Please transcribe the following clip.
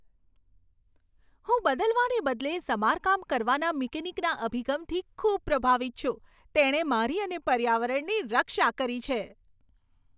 હું બદલવાને બદલે સમારકામ કરવાના મિકેનિકના અભિગમથી ખૂબ પ્રભાવિત છું. તેણે મારી અને પર્યાવરણની રક્ષા કરી છે.